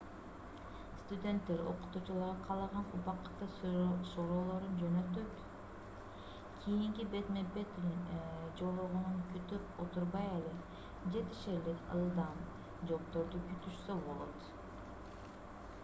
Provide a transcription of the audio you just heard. студенттер окутуучуларга каалаган убакытта суроолорун жөнөтүп кийинки бетме-бет жолугууну күтүп отурбай эле жетишерлик ылдам жоопторду күтүшсө болот